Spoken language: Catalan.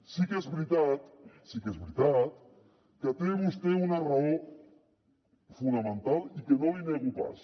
sí que és veritat sí que és veritat que té vostè una raó fonamental i que no l’hi nego pas